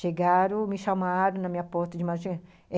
Chegaram, me chamaram na minha porta de